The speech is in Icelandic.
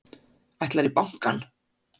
Ætlarðu í bankann?